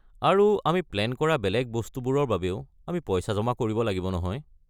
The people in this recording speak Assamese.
আৰু আমি প্লেন কৰা বেলেগ বস্তুবোৰৰ বাবেও আমি পইচা জমা কৰিব লাগিব নহয়।